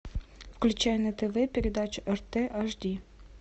включай на тв передачу рт аш ди